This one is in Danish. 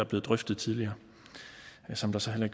blevet drøftet tidligere som der så heller